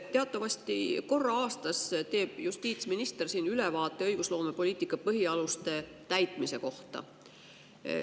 Teatavasti korra aastas teeb justiitsminister siin ülevaate õigusloomepoliitika põhialuste täitmisest.